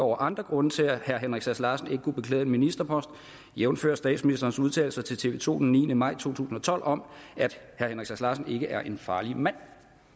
over andre grunde til at henrik sass larsen ikke kunne beklæde en ministerpost jævnfør statsministerens udtalelser til tv to den niende maj to tusind og tolv om at henrik sass larsen ikke er en farlig mand